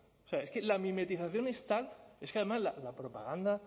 es que la mimetización es tal es que además la propaganda